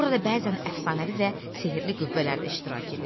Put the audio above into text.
Burada bəzən əfsanəvi və sehri qüvvələr də iştirak edir.